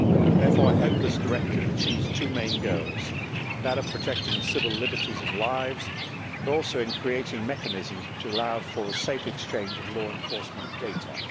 Therefore I hope this directive achieves two main goals that of protecting civil liberties and lives, but also that of creating mechanisms which allow for the safe exchange of law enforcement data.